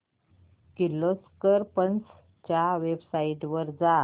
Kirloskar pumps च्या website वर जा